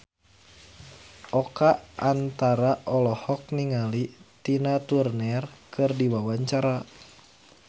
Oka Antara olohok ningali Tina Turner keur diwawancara